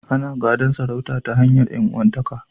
Ana gadan sarauta ta hanyar ƴan'uwanta ka.